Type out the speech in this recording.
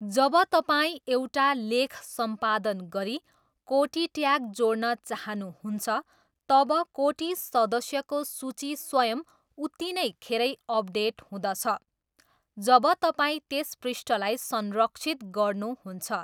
जब तपाईँ एउटा लेख सम्पादन गरी कोटी ट्याग जोड्न चहानुहुन्छ, तब कोटी सदस्यको सूची स्वयं उत्तिनैखेरै अपडेट हुँदछ जब तपाईँ त्यस पृष्ठलाई संरक्षित गर्नु हुन्छ।